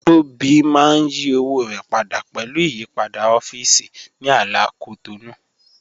Tobi mà n yí òwò rẹ pádà pẹ̀lú ìyìpadà ọ̀fíìsì ní àlà Cotonou